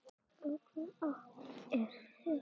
Í hvaða átt er humátt?